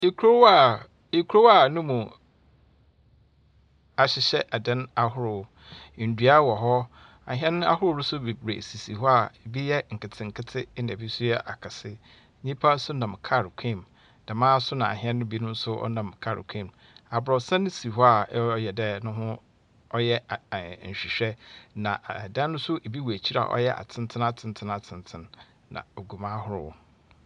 Kurow a kurow a no mu ahyehyɛ adan ahorow. Ndua wɔ hɔ. Ahɛn ahorow so beberee sisi hɔ a bi yɛ nketsenketse na bi so yɛ akɛse. nyimpa so nam kaar kwan mu, dɛmara so na ahɛn binom so wɔnam kaar kwan mu. Aborɔsan si hɔ a ɔreyɛ dɛ no ho ɔreyɛ ɛɛ nhwenhwɛ. Na adan so bi wɔ ekyir ɔyɛ atsentsen atsentsen atsentsen na ogu mu ahorow.